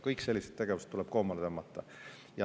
Kõik sellised tegevused tuleb koomale tõmmata.